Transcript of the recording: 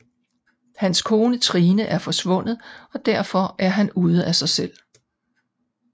Hans kone Trine er forsvundet og derfor han er ude af sig selv